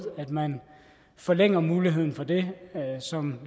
at man forlænger muligheden for det som